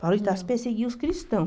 Paulo de Tarso perseguiu os cristãos.